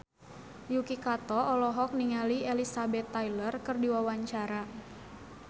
Yuki Kato olohok ningali Elizabeth Taylor keur diwawancara